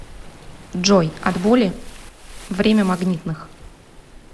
джой от боли время магнитных